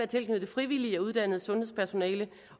tilknyttet frivillige og uddannet sundhedspersonale